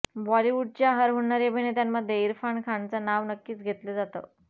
बॉलिवूडच्या हरहुन्नरी अभिनेत्यांमध्ये इरफान खानचं नाव नक्कीच घेतलं जातं